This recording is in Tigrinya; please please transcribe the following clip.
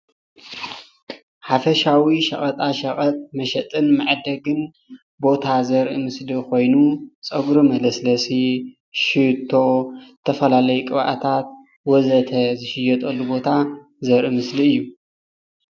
ሓፈሻዊ ሸቀጣሸቀጥ መሸጥን መዐደግን ቦታ ዘርኢ ምስሊ ኾይኑ ፀጉሪ መለስለሲ፣ ሸቶ ፣ ዝተፈላለዩ ቅብኣታት ወዘተ ዝሽየጠሉ ቦታ ዘርኢ ምስሊ እዩ።